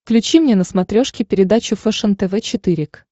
включи мне на смотрешке передачу фэшен тв четыре к